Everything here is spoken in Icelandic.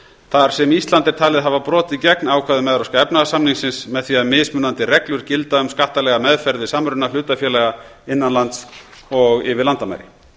þar sem ísland er talið hafa brotið gegn ákvæðum evrópska efnahagssamningsins með því að mismunandi reglur gilda um skattalega meðferð við samruna hlutafélaga innan lands og yfir landamæri